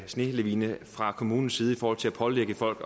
snelavine fra kommunens side i forhold til at pålægge folk